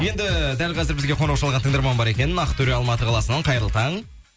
енді дәл қазір бізге қоңырау шалған тыңдарман бар екен ақтөре алматы қаласынан қайырлы таң